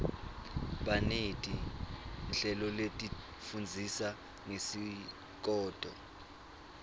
baneti nhleloletifundzisa ngesikoto